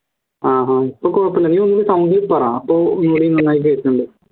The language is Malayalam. ആഹ് അഹ് ഇപ്പൊ കുഴപ്പല്ല നീ ഒന്നുടി sound ൽ പറ അപ്പോ നന്നായി കേക്ന്നുണ്ട്